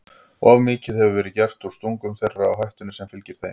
Of mikið hefur verið gert úr stungum þeirra og hættunni sem fylgir þeim.